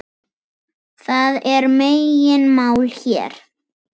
Það er megin mál hér.